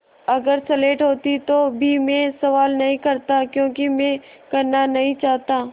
अगर स्लेट होती तो भी मैं सवाल नहीं करता क्योंकि मैं करना नहीं चाहता